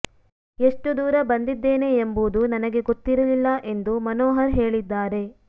ಎಷ್ಟು ದೂರ ಬಂದಿದ್ದೇನೆ ಎಂಬುದು ನನಗೆ ಗೊತ್ತಿರಲಿಲ್ಲ ಎಂದು ಮನೋಹರ್ ಹೇಳಿದ್ದಾರೆ